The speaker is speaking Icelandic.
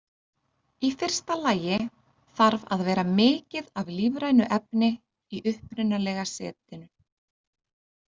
Í fyrsta lagi þarf að vera mikið af lífrænu efni í upprunalega setinu.